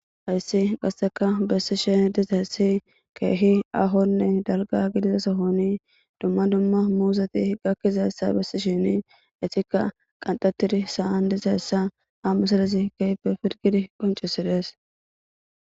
Hayssi gasseka bessishe diza essi keehi ahonne dalga gidizasahoni dumma dumma muuzati gakkizayssa bessi shini etikka qanxatiri saan dizayssa a masadezi keype firgidi qoncisidees.